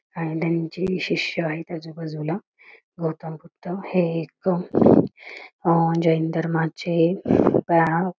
आणि त्यांचे शिष्य आहेत आजूबाजूला गौतम बुद्ध हे एक जैन धर्माचे--